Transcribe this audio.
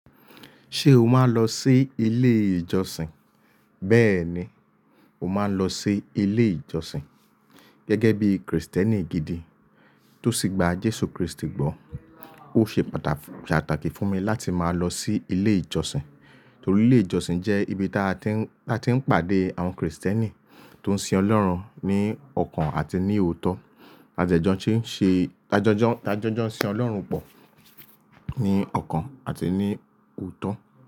Ṣé o máa ń lọ sí ilé ìjọsìn? Bẹ́ẹ̀ni, mo máa ń lọ sí ilé ìjọsìn. Gẹ́gẹ́ bí Kristẹni gidi tó sì gba Jésù Kristi gbọ́. Ó ṣe pàtàkì fún mi láti máa lọ sí ilé ìjọsìn, torí ilé ìjọsìn jẹ́ ibi táa ti ń, táa ti ń pàdé àwọn Kristẹni tó ń sin Ọlọ́run ní ọkàn àti ní òótọ́. A jẹ́jọ́ ń ṣe, a jẹ́jọ́, a jẹ́jọ́ ń sin Ọlọ́run pọ̀ ní ọkàn àti ní òótọ́.